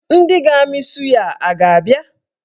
Ndị ga-amị suya a ga-abịa?